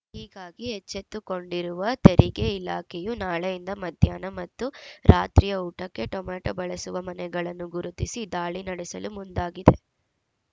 ಹೀಗಾಗಿ ಎಚ್ಚೆತ್ತುಕೊಂಡಿರುವ ತೆರಿಗೆ ಇಲಾಖೆಯು ನಾಳೆಯಿಂದ ಮಧ್ಯಾಹ್ನ ಮತ್ತು ರಾತ್ರಿಯ ಊಟಕ್ಕೆ ಟೊಮೆಟೊ ಬಳಸುವ ಮನೆಗಳನ್ನು ಗುರುತಿಸಿ ದಾಳಿ ನಡೆಸಲು ಮುಂದಾಗಿದೆ